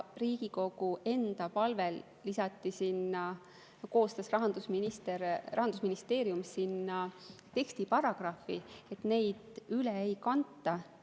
Riigikogu enda palvel koostas Rahandusministeerium tekstiparagrahvi, et seda üle ei kanta.